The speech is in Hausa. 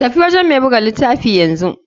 Tafi gurin mai buga litafin yanzu.